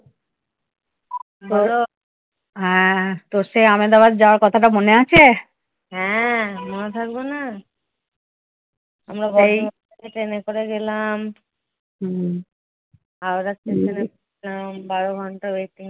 Howrah station এ বারো ঘণ্টা waiting